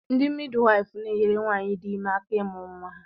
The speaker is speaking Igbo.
Ndị midwaịfụ na-enyere nwaanyị dị ime aka ịmụ nwa ya.